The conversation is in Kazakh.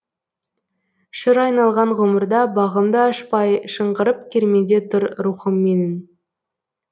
шыр айналған ғұмырда бағымды ашпай шыңғырып кермеде тұр рухым менің